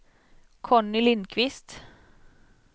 Conny Lindquist